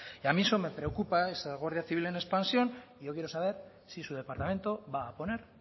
y a mí eso me preocupa esa guardia civil en expansión yo quiero saber si su departamento va a poner